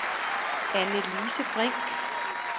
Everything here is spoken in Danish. Anne-Lise Brink